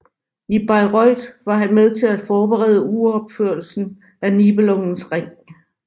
I Bayreuth var han med til at forberede uropførelserne af Nibelungens Ring